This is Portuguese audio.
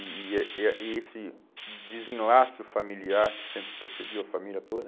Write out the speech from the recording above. e e ah ah esse desenlaço familiar que sempre perseguiu a família toda.